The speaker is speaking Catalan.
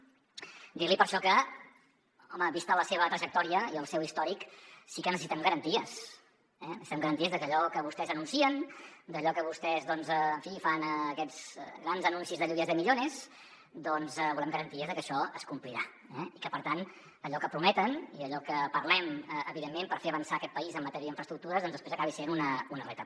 dir li per això que home vista la seva trajectòria i el seu històric sí que necessitem garanties eh necessitem garanties de que allò que vostès anuncien d’allò que vostès doncs en fi fan aquests grans anuncis de lluvias de millones doncs volem garanties de que això es complirà i que per tant allò que prometen i allò que parlem evidentment per fer avançar aquest país en matèria d’infraestructures després acabi sent una realitat